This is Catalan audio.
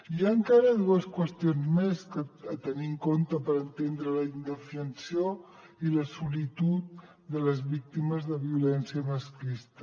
hi ha encara dues qüestions més a tenir en compte per entendre la indefensió i la solitud de les víctimes de violència masclista